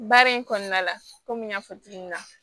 Baara in kɔnɔna la kɔmi n y'a fɔ cogo min na